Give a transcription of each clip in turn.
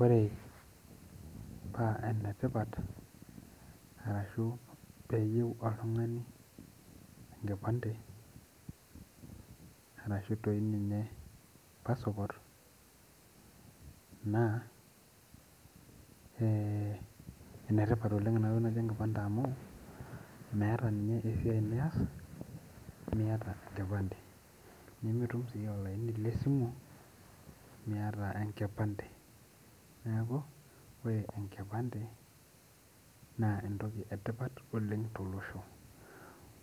Ore enetipat ahu oeyieu oltungani enkipande ashuvtoi ninye pasipot naa enetipat oleng inatoki naji enkipande amu meeta nye eaiai nias miata enkipande nimitum si olaini le simu miata enkipande neaku ore enkipande na entoki etipat tolosho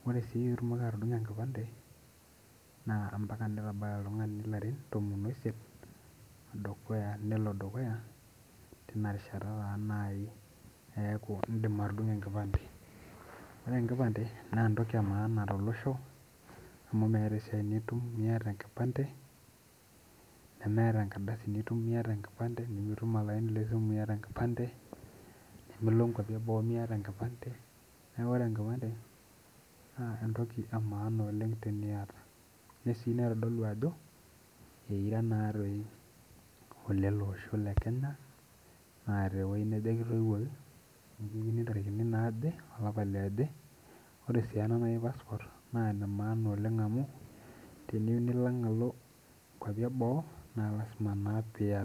ore si pitumoki atudungo enkipande na ambaka nitabaya oltungani larin tomon oisiet nelobdukuya tinarishata nai indim atudungo enkipande ore enkipande na entoki emaana tolosho amu meeta entoki nitum miata enkipande nemetabrnkardasu nitumbmiata enkipande nimitum olaini le simu miata enkipande nemilo nkeapi eboo miatabenkipande neaku ore enkipande na entoki maana oleng teniniata ninye ai naitodolu ajo ira. Ololosho le kenya na tewoi naje kitoiwuoki ntarikini naaje alapa liaje ore ena naji passport tenuyieu nilo kwapi eboo na lasima na piata.